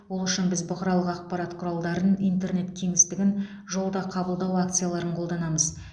ол үшін біз бұқаралық ақпарат құралдарын интернет кеңістігін жолда қабылдау акцияларын қолданамыз